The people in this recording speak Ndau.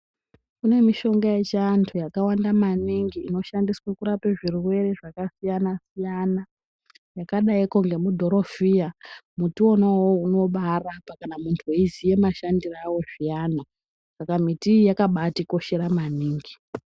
Kune mishonga yechiantu yakawand maningi inoshandiswa kurape zvirwere zvakasiyana siyana yakadaiko ngemudhorofiya. Muti uowow unobarapa kana muntu weiziya mashandiro awo zviyani, saka miti iyi yakabatikoshera maningi.